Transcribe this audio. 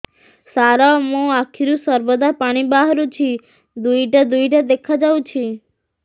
ସାର ମୋ ଆଖିରୁ ସର୍ବଦା ପାଣି ବାହାରୁଛି ଦୁଇଟା ଦୁଇଟା ଦେଖାଯାଉଛି